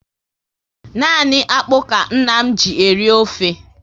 Nani akpụ ka nna m ji eri ofe